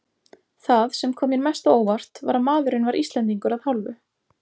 Það, sem kom mér mest á óvart, var að maðurinn var Íslendingur að hálfu.